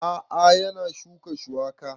A'a yana shuka shuwaka